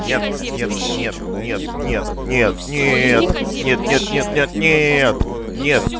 нет нет нет нет нет нет нет нет нет нет нет нет